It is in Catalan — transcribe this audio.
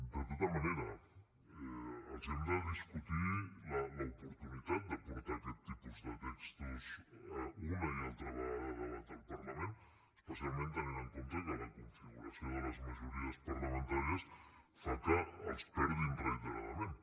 de tota manera els hem de discutir l’oportunitat de portar aquest tipus de textos una i altra vegada a debat al parlament especialment tenint en compte que la configuració de les majories parlamentàries fa que els perdin reiteradament